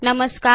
नमस्कार